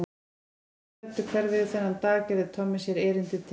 Áður en þeir kvöddu hverfið þennan dag gerði Tommi sér erindi til